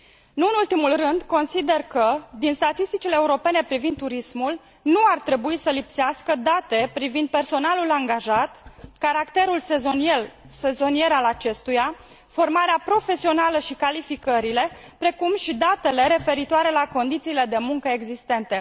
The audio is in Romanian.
Nu în ultimul rând, consider că, din statisticile europene privind turismul, nu ar trebui să lipsească date privind personalul angajat, caracterul sezonier al acestuia, formarea profesională și calificările, precum și datele referitoare la condițiile de muncă existente.